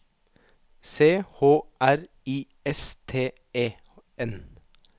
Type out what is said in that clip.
C H R I S T E N